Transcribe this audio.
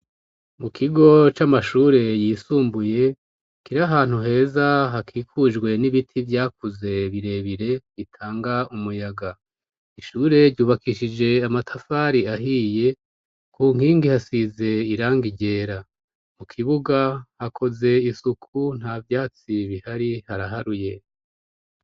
Mu kigo c'amashure yisumbuye kiri ahantu heza hakikujwe n'ibiti vyakuze birebire bitanga umuyaga. Ishure ry'ubakishije amatafari ahiye ku nkingi hasize irangi ryera mu kibuga hakoze isuku nta vyatsi bihari haraharuye.